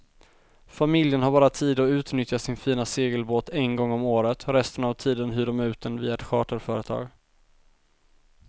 Familjen har bara tid att utnyttja sin fina segelbåt en gång om året, resten av tiden hyr de ut den via ett charterföretag.